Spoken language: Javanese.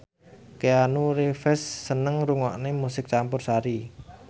Keanu Reeves seneng ngrungokne musik campursari